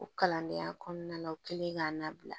O kalandenya kɔnɔna na o kɛlen k'a labila